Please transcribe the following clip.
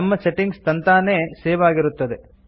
ನಮ್ಮ ಸೆಟ್ಟಿಂಗ್ಸ್ ತಂತಾನೇ ಸೇವ್ ಆಗಿರುತ್ತದೆ